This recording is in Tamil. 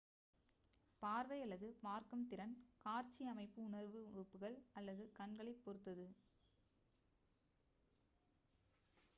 பார்வை அல்லது பார்க்கும் திறன் காட்சி அமைப்பு உணர்வு உறுப்புகள் அல்லது கண்களைப் பொறுத்தது